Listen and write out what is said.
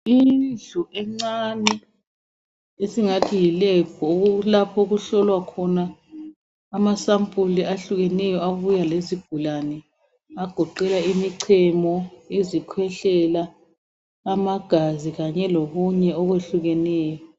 Indlu encane esingathi yilab lapho okuhlolwa khona ama sampuli ahlukeneyo abuya lezigulane agoqela imichemo, izikhwehlela amagazi kanye lokunye okwehlukeneyo.